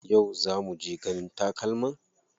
Yau za muje ganin takalman?